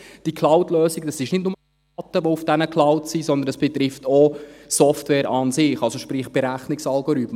Die Cloudlösung sind nicht nur Daten, die auf der Cloud sind, sondern das betrifft auch die Software an sich, also sprich Berechnungsalgorithmen.